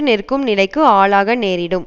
நிற்கும் நிலைக்கு ஆளாக நேரிடும்